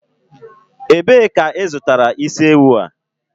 Ebee ka ị zụtara isi ewu a?